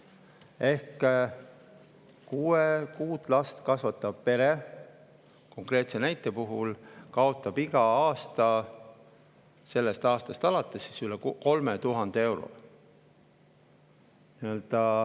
Ehk konkreetse näite puhul kaotab see kuut last kasvatav pere alates sellest aastast iga aasta üle 3000 euro.